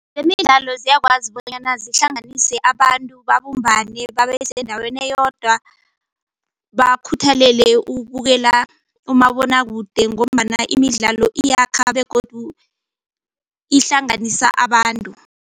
Zemidlalo ziyakwazi bonyana zihlanganise abantu babumbane babesendaweni eyodwa bakhuthalele ukubukela umabonwakude ngombana imidlalo iyakha begodu ihlanganisa abantu.